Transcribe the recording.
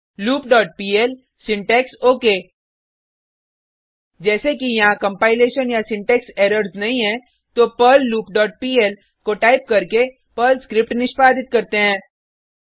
loop dot PL syntax okay जैसे कि यहाँ कंपाइलेशन या सिंटेक्स एरर्स नहीं है तो पर्ल लूप डॉट पीएल को टाइप करके पर्ल स्क्रिप्ट निष्पादित करते हैं